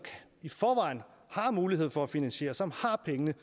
i forvejen har mulighed for at finansiere som har pengene